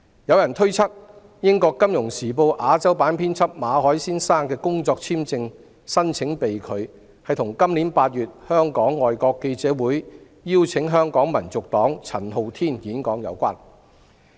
有人推測，英國《金融時報》亞洲新聞編輯馬凱先生的工作簽證續期申請被拒，與今年8月香港外國記者會邀請香港民族黨陳浩天演講有關。